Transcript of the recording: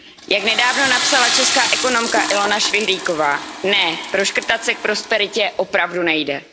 Jak nedávno napsala česká ekonomka Ilona Švihlíková Ne, proškrtat se k prosperitě opravdu nejde.